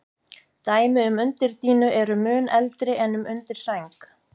Dæmi um undirdýnu eru mun eldri en um undirsæng.